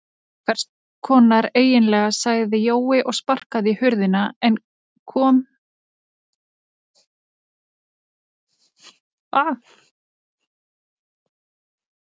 Hvess konar eiginlega sagði Jói og sparkaði í hurðina en um leið kom